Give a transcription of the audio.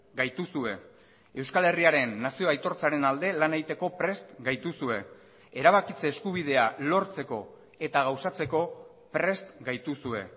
gaituzue euskal herriaren nazio aitortzaren alde lan egiteko prest gaituzue erabakitze eskubidea lortzeko eta gauzatzeko prest gaituzue